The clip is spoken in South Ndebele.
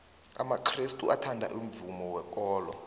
amakrestu athanda umvumo wekolo